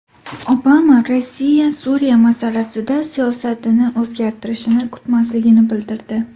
Obama Rossiya Suriya masalasida siyosatini o‘zgartirishini kutmasligini bildirdi.